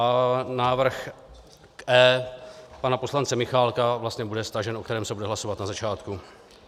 A návrh E pana poslance Michálka vlastně bude stažen, o tom se bude hlasovat na začátku.